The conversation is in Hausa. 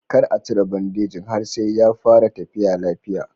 Kar a cire bandejin har sai ya fara tafiya lafiya.